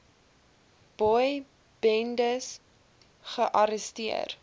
boy bendes gearresteer